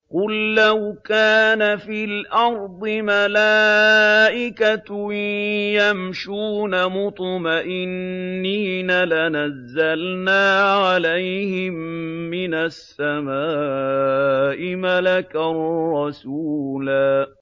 قُل لَّوْ كَانَ فِي الْأَرْضِ مَلَائِكَةٌ يَمْشُونَ مُطْمَئِنِّينَ لَنَزَّلْنَا عَلَيْهِم مِّنَ السَّمَاءِ مَلَكًا رَّسُولًا